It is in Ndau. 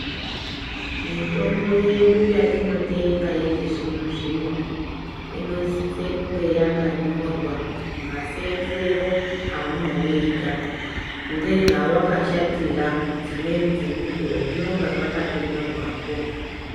Mitombo yedu yatinotenga yechizvino-zvino, inosise kunge yakanyorwa masenzero aunouita, ngezvawakashatira, dzimweni dzemukuwo zvinonga zvakatonyorwapo.